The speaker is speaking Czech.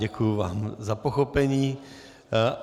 Děkuji vám za pochopení.